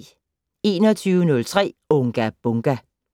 21:03: Unga Bunga!